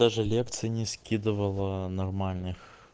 даже лекции не скидывала нормальных